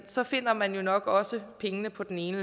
så finder man jo nok også pengene på den ene